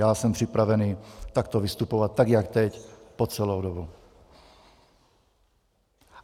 Já jsem připravený takto vystupovat, tak jak teď, po celou dobu.